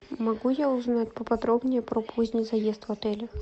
могу я узнать поподробнее про поздний заезд в отелях